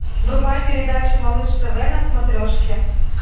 врубай передачу малыш тв на смотрешке